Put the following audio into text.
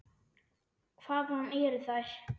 Hvaðan eru þær.